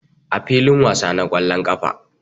A filin wasa na ƙwallon ƙafa